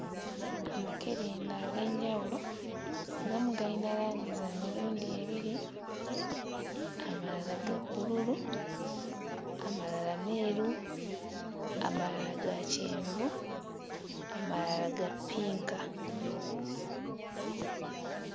Amakerenda ag'enjawulo agamu gayina langi za mirundi ebiri, amalala ga bbululu, amalala meeru, amalala ga kyenvu, amalala ga ppinka.